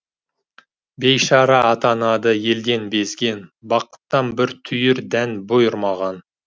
бейшара атанады елден безген бақыттан бір түйір дән бұйырмаған